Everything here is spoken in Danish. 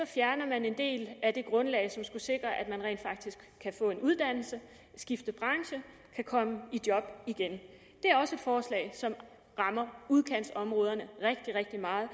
fjerner en del af det grundlag som skulle sikre at folk rent faktisk kan få en uddannelse skifte branche og komme i job igen det er også et forslag som rammer udkantsområderne rigtig rigtig meget